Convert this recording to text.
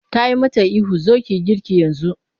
Ta yi mata ihu 'zo ki yi girki yanzu!'